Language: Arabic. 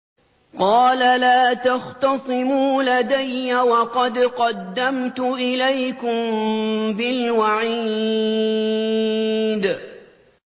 قَالَ لَا تَخْتَصِمُوا لَدَيَّ وَقَدْ قَدَّمْتُ إِلَيْكُم بِالْوَعِيدِ